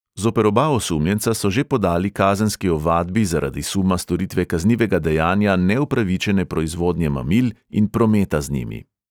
Zoper oba osumljenca so že podali kazenski ovadbi zaradi suma storitve kaznivega dejanja neupravičene proizvodnje mamil in prometa z njimi.